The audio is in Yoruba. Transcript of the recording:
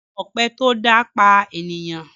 Èmi ọpẹ tó dá pà ènìyàn.